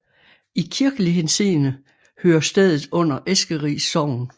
I kirkelig henseende hører stedet under Eskeris Sogn